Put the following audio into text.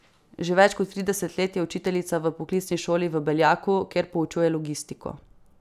Že več kot trideset let je učiteljica v poklicni šoli v Beljaku, kjer poučuje logistiko.